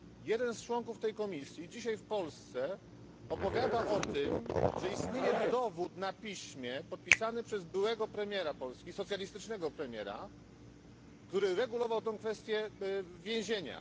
Jeden z członków tej komisji dzisiaj w Polsce opowiada o tym, że istnieje dowód na piśmie, podpisany przez byłego socjalistycznego premiera Polski, który regulował tę kwestię więzienia.